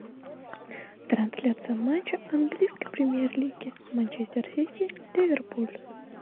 трансляция матча английской премьер лиги манчестер сити ливерпуль